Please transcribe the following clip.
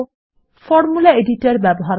formula editor ব্যবহার করা